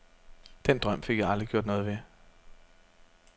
Den drøm fik jeg aldrig gjort noget ved.